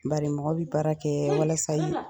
Bari mɔgɔ bɛ baara kɛ walasa i